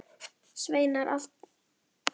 Deildina og úrslitakeppnina?